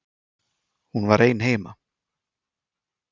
Hún var ein heima.